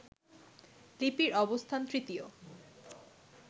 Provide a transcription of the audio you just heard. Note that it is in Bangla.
লিপির অবস্থান তৃতীয়